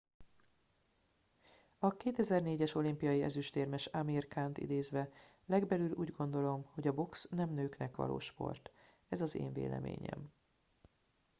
"a 2004-es olimpiai ezüstérmes amir khant idézve: "legbelül úgy gondolom hogy a box nem nőknek való sport. ez az én véleményem.""